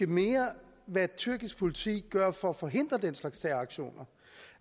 mere hvad tyrkisk politi gør for at forhindre den slags terroraktioner